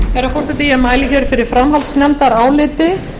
herra forseti ég mæli hér fyrir framhaldsnefndaráliti um frumvarp